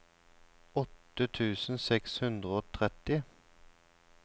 åtte tusen seks hundre og tretti